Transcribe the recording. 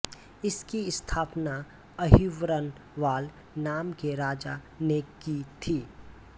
इसकी स्थापना अहिबरनवाल नाम के राजा ने की थी